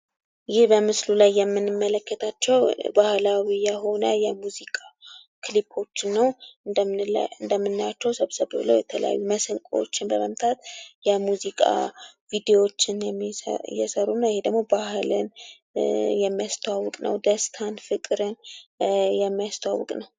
ይህ በምስሉ ላይ የምንመለከታቸው ባህላዊ የሆኑ የሙዚቃ ክሊፖችን ነው እንደምናያቸው ሰብሰብ ብለው የተለያዩ መሰንቆዎችን በመምታት የሙዚቃ ቪዲዮዎችን እየሰሩ እና ይሄ ደግሞ ባህልን የሚያስተዋውቅ ነው ደስታን ፍቅርን የሚስተዋውቅ ነው።